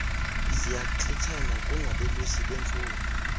ziyantlithana kungabelusi bemfuyo